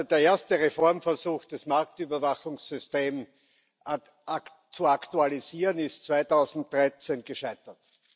Der erste Reformversuch, das Marktüberwachungssystem zu aktualisieren, ist 2013 gescheitert.